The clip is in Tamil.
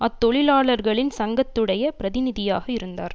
அத்தொழிலாளர்களின் சங்கத்துடைய பிரதிநிதியாக இருந்தார்